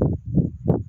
Sanunɛgɛnin yo warinɛ